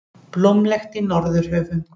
Blómlegt í Norðurhöfum